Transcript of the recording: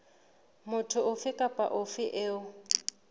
motho ofe kapa ofe eo